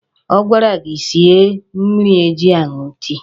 Ọ gwara gị sie mmiri eji aṅụ tii